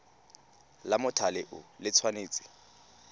la mothale o le tshwanetse